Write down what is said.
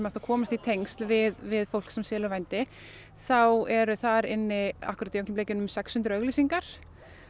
hægt að komast í tengsl við við fólk sem selur vændi þá eru þar inni sex hundruð auglýsingar